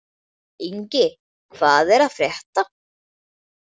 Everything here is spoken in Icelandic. Ingi, hvað er að frétta?